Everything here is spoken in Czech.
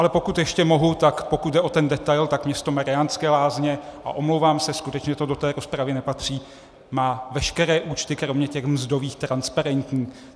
Ale pokud ještě mohu, tak pokud jde o ten detail, tak město Mariánské Lázně - a omlouvám se, skutečně to do té rozpravy nepatří - má veškeré účty kromě těch mzdových transparentní.